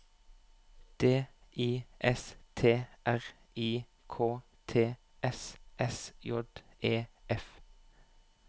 D I S T R I K T S S J E F